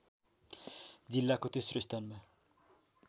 जिल्लाको तेस्रो स्थानमा